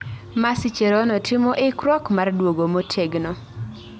Mercy Cherono timo ikruok mar duogo motegno